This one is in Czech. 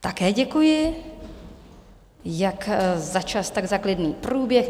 Také děkuji jak za čas, tak za klidný průběh.